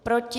Proti?